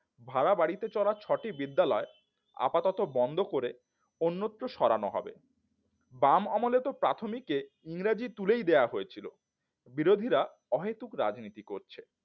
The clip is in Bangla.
ভাড়া বাড়িতে চলা ছটি বিদ্যালয় আপাতত বন্ধ করে অন্যত্র সরানো হবে বাম আমলেতো প্রাথমিকে ইংরেজি তুলেই দেওয়া হয়েছিল বিরোধীরা অহেতুক রাজনীতি করছে